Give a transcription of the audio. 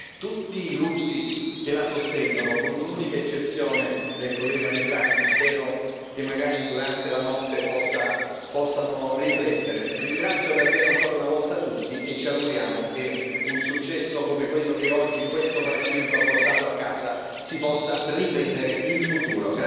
Sono tutti i gruppi che la sostengono, con l'unica eccezione del collega Matt Carthy, che spero che magari durante la notte possa riflettere. Ringrazio davvero ancora una volta tutti e ci auguriamo che un successo come quello che oggi questo Parlamento ha portato a casa si possa ripetere in futuro.